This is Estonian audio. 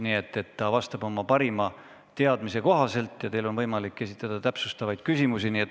Nii et ta vastab oma parima teadmise kohaselt ja teil on võimalik esitada täpsustavaid küsimusi.